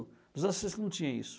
Nos anos sessenta não tinha isso.